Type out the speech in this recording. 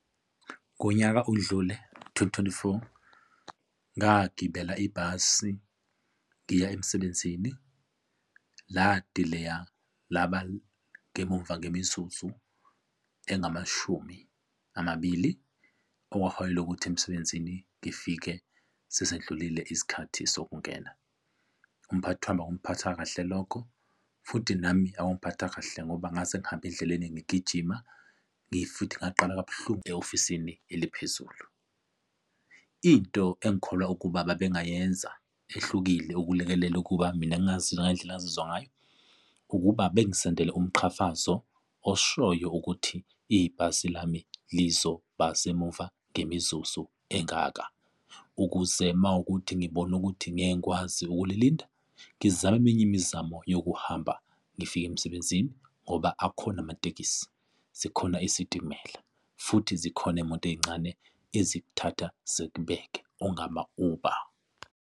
Ngonyaka odlule twenty, twenty-four ngagibela ibhasi ngiya emsebenzini ladileya laba emumva kemizuzu engamashumi amabili okwaholela ukuthi emsebenzini ngifike sesindlulile isikhathi sokungena. Umphathi wami akumphathanga kahle lokho, futhi nami akungiphathanga kahle ngoba ngase ngihambe endleleni ngigijima futhi ngaqala kabuhlungu e-ofisini eliphezulu. Into engikholwa ukuba babengayenza ehlukile ukulekelela ukuba mina ngingazizwa ngendlela engazizwa ngayo ukuba bangisendele umqhafazo oshoyo ukuthi ibhasi lami lizoba semuva ngemizuzu engaka, ukuze mawukuthi ngibone ukuthi ngeke ngikwazi ukulilinda, ngizame eminye imizamo yokuhamba ngifike emsebenzini ngoba akhona amatekisi, sikhona isitimela, futhi zikhona iy'moto ey'ncane ezikuthatha zikubeke ongama-Uber.